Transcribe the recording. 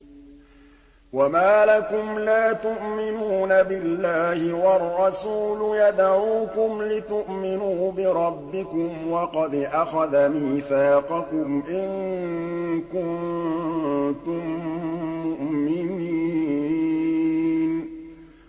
وَمَا لَكُمْ لَا تُؤْمِنُونَ بِاللَّهِ ۙ وَالرَّسُولُ يَدْعُوكُمْ لِتُؤْمِنُوا بِرَبِّكُمْ وَقَدْ أَخَذَ مِيثَاقَكُمْ إِن كُنتُم مُّؤْمِنِينَ